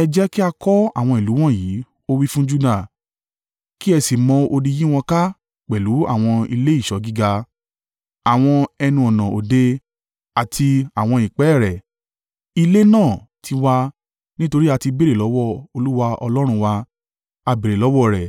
“Ẹ jẹ́ kí a kọ́ àwọn ìlú wọ̀nyí,” ó wí fún Juda, “kí ẹ sì mọ odi yí wọn ká pẹ̀lú àwọn ilé ìṣọ́ gíga, àwọn ẹnu-ọ̀nà òde, àti àwọn ìpẹ́ẹ̀rẹ̀. Ilé náà ti wà, nítorí a ti béèrè lọ́wọ́ Olúwa Ọlọ́run wa; a béèrè lọ́wọ́ rẹ̀,